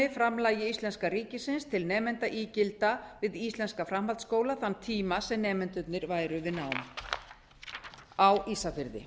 framlagi íslenska ríkisins til nemendaígilda við íslenska framhaldsskóla þann tíma sem nemendurnir væru við nám á ísafirði